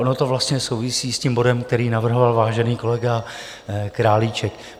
Ono to vlastně souvisí s tím bodem, který navrhl vážený kolega Králíček.